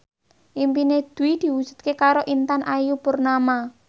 impine Dwi diwujudke karo Intan Ayu Purnama